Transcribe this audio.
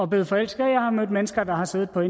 blevet forelsket og jeg har mødt mennesker der har siddet og